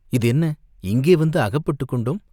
இது என்ன, இங்கே வந்து அகப்பட்டுக் கொண்டோம்?